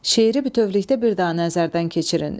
Şeiri bütövlükdə bir daha nəzərdən keçirin.